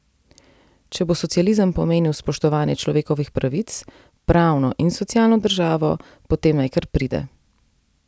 Če bo socializem pomenil spoštovanje človekovih pravic, pravno in socialno državo, potem naj kar pride.